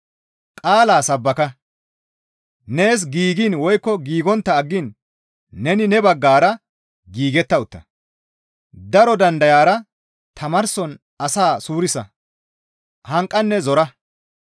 Qaalaa sabbaka; nees giigiin woykko giigontta aggiin neni ne baggara giigetta utta; daro dandayara tamaarson asaa suurisa; hanqanne zora.